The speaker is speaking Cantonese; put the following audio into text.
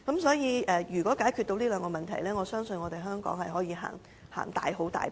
所以，如果能夠解決這兩個問題，相信香港便可以踏前一大步。